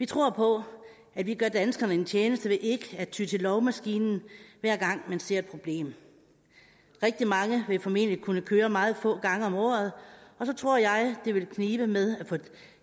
tror på at vi gør danskerne en tjeneste ved ikke at ty til lovmaskinen hver gang vi ser et problem rigtig mange vil formentlig kunne køre meget få gange om året og så tror jeg det vil knibe ved med at få